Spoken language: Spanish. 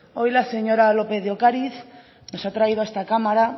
hoy la señora lópez de ocariz nos ha traído a esta cámara